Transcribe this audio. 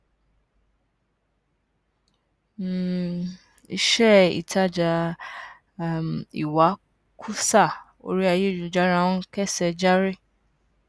um iṣẹ ìtajà um ìwakùsà orí ayélujára ń késẹ járí